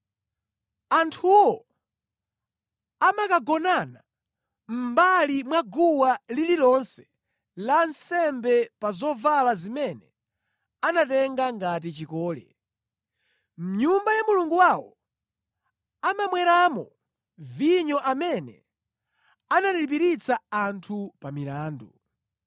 Anthuwo amakagonana mʼmbali mwa guwa lililonse la nsembe pa zovala zimene anatenga ngati chikole. Mʼnyumba ya mulungu wawo amamweramo vinyo amene analipiritsa anthu pa milandu.